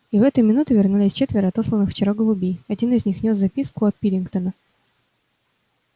и в эту минуту вернулись четверо отосланных вчера голубей один из них нёс записку от пилкингтона